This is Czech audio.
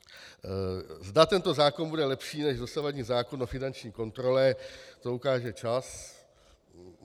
Zda tento zákon bude lepší než dosavadní zákon o finanční kontrole, to ukáže čas.